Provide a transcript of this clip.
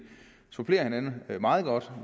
supplerer hinanden meget godt